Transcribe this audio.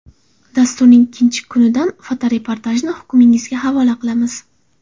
Dasturning ikkinchi kunidan fotoreportajni hukmingizga havola qilamiz.